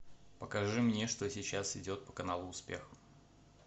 покажи мне что сейчас идет по каналу успех